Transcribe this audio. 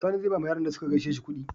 Sani zai bawa Yaran da suka gaishe shi kudi